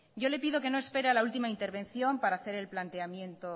yo le pido que no espere a la última intervención para hacer el planteamiento